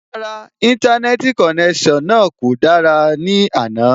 Rárá, Íńtánẹ́ẹ̀tì konẹ́sàn náà ò dára ní àná